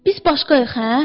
Biz başqayıq hə?